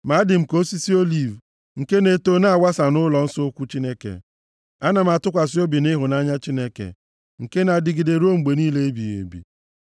Ma adị m ka osisi oliv, nke na-eto na-awasa nʼụlọnsọ ukwu Chineke. Ana m atụkwasị obi m nʼịhụnanya Chineke, nke na-adịgide ruo mgbe niile ebighị ebi.